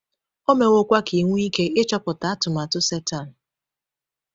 O mewokwa ka ị nwee ike ịchọpụta atụmatụ Setan.